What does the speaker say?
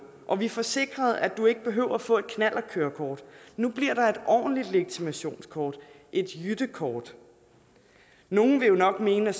og vi får sikret at du ikke behøver at få et knallertkørekort nu bliver der et ordentligt legitimationskort et jyttekort nogle vil jo nok mene at